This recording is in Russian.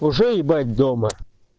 уже ебать дома